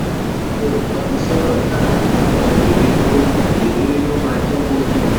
olùtọ́nisọ́nà dara ṣùgbọ́n ìrírí ló ìrírí ló máa jẹ́ kó ye ọ.